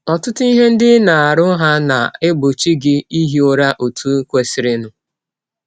Ọtụtụ ihe ndị ị na - arụ hà na - egbọchi gị ihi ụra ọtụ kwesịrịnụ?